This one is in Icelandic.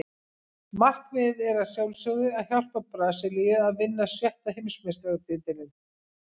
Markmiðið er að sjálfsögðu að hjálpa Brasilíu að vinna sjötta Heimsmeistaratitilinn.